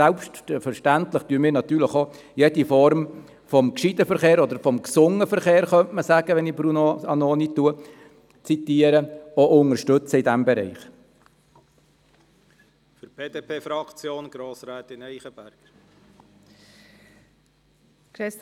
Selbstverständlich unterstützen wir in diesem Bereich jede Form des gescheiten oder des gesunden Verkehrs, wie Bruno Vanoni diesen genannt hat.